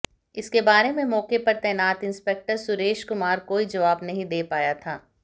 इसके बारे में मौके पर तैनात इंस्पेक्टर सुरेश कुमार कोई जवाब नहीं दे पाया था